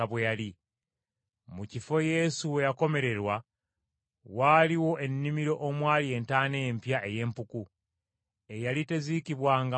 Mu kifo Yesu we yakomererwa waaliwo ennimiro omwali entaana empya ey’empuku, eyali teziikibwangamu muntu.